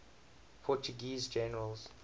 portuguese generals